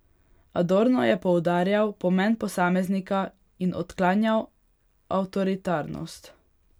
Adorno je poudarjal pomen posameznika in odklanjal avtoritarnost.